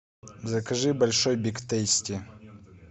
закажи большой биг тейсти